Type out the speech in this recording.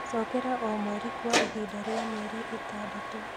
Cokera o mweri kwa ihinda rĩa mĩeri ĩtandatũ.